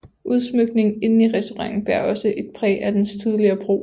Udsmykningen inde i restauranten bærer også et præg af dens tidligere brug